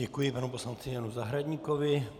Děkuji panu poslanci Janu Zahradníkovi.